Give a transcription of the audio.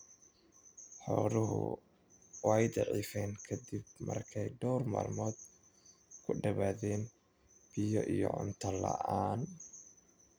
Xooluhu way daciifeen ka dib markii ay dhawr maalmood ka badbaadeen biyo iyo cunto la'aan.